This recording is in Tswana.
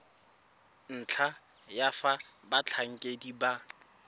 ntlha ya fa batlhankedi ba